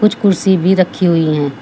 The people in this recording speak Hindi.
कुछ कुर्सी भी रखी हुई हैं।